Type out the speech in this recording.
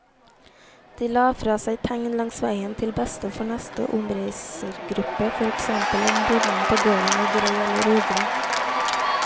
De la fra seg tegn langs veien til beste for neste omreisergruppe, for eksempel om bonden på gården var grei eller ugrei.